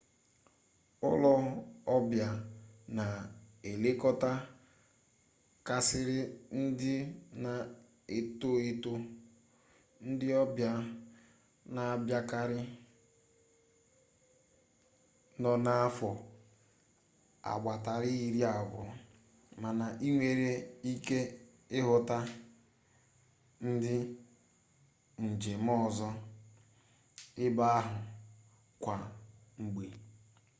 ulo-obia na elekota karisia ndị na-eto eto ndi obia na abiakari no n'afo agbata iri-abuo mana inwere ike ihuta ndi njem ozo ebe ahu kwa mgbe